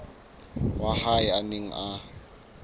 wa hae a neng a